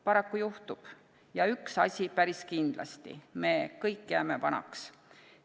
Paraku juhtub, ja üks asi päris kindlasti – me kõik jääme vanaks.